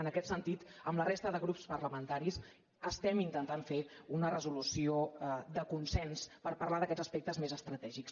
en aquest sentit amb la resta de grups parlamentaris estem intentant fer una resolució de consens per parlar d’aquests aspectes més estratègics